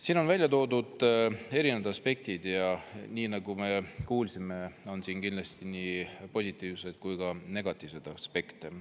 Siin on välja toodud erinevad aspektid ja nii nagu me kuulsime, on siin kindlasti nii positiivseid kui ka negatiivseid aspekte.